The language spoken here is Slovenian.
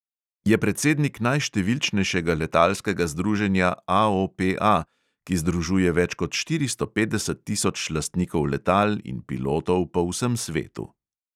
Je predsednik najštevilčnejšega letalskega združenja AOPA, ki združuje več kot štiristo petdeset tisoč lastnikov letal in pilotov po vsem svetu.